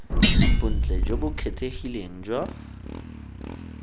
bontle jo bo kgethegileng jwa